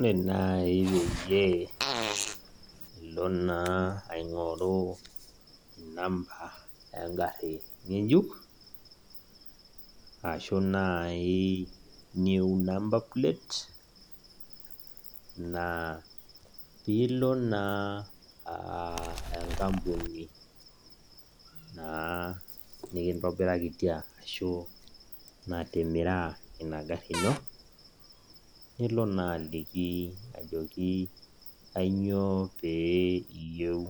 Ore nai peyie ilo naa aing'oru inamba egarri ng'ejuk, ashu nai new number plate, naa pilo naa enkampuni naa nikintobirakitia ashu natimira ina garri ino, nilo naa aliki ajoki kanyioo pee iyieu